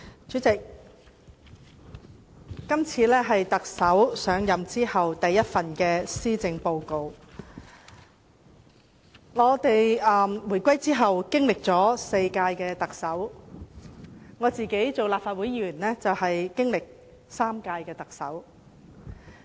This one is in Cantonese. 主席，這是特首上任後的首份施政報告，香港回歸以後香港經歷了4屆特首管治，在我擔任立法會議員期間，香港曾經歷3屆特首管治。